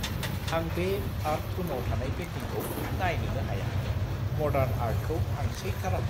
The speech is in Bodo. आं बे आर्ट रुमाव थानाय बै पेन्टिंखौ नायनोनो हाया; मडार्न आर्टखौ आं सैथारा।